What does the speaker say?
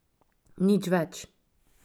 Nič več.